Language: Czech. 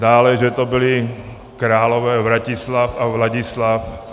Dále že to byli králové Vratislav a Vladislav.